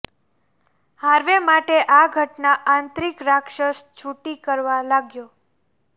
Harvey માટે આ ઘટના આંતરિક રાક્ષસ છૂટી કરવા લાગ્યો